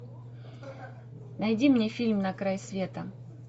найди мне фильм на край света